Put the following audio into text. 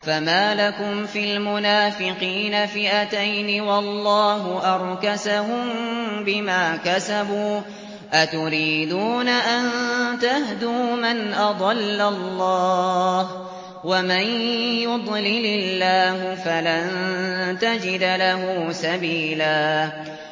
۞ فَمَا لَكُمْ فِي الْمُنَافِقِينَ فِئَتَيْنِ وَاللَّهُ أَرْكَسَهُم بِمَا كَسَبُوا ۚ أَتُرِيدُونَ أَن تَهْدُوا مَنْ أَضَلَّ اللَّهُ ۖ وَمَن يُضْلِلِ اللَّهُ فَلَن تَجِدَ لَهُ سَبِيلًا